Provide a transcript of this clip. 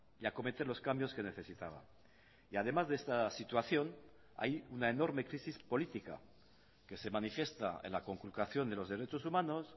y acometer los cambios que necesitaba y además de esta situación hay una enorme crisis política que se manifiesta en la conculcación de los derechos humanos